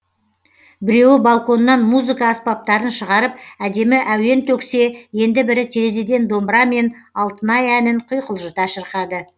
біреуі балконнан музыка аспаптарын шығарып әдемі әуен төксе енді бірі терезеден домбырамен алтынай әнін құйқылжыта шырқады